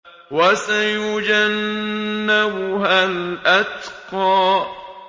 وَسَيُجَنَّبُهَا الْأَتْقَى